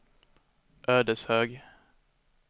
Ödeshög